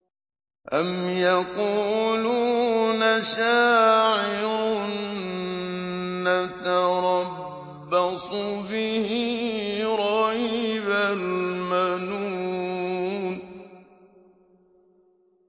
أَمْ يَقُولُونَ شَاعِرٌ نَّتَرَبَّصُ بِهِ رَيْبَ الْمَنُونِ